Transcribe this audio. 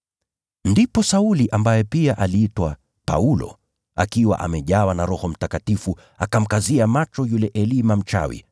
Ndipo Sauli, ambaye pia aliitwa Paulo, akiwa amejawa na Roho Mtakatifu, akamkazia macho Elima huyo mchawi,